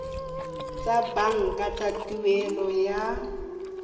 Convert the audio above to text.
tsa banka tsa tuelo ya